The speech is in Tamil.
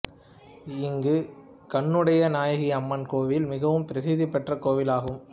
இங்கு கண்ணுடைய நாயகி அம்மன் கோவில் மிகவும் பிரசித்தி பெற்ற கோவில் ஆகும்